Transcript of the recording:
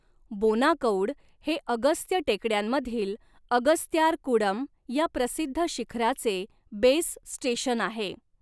बोनाकौड हे अगस्त्य टेकड्यांमधील अगस्त्यारकूडम या प्रसिद्ध शिखराचे बेस स्टेशन आहे.